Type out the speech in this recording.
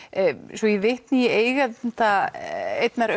svo ég vitni í eiganda einnar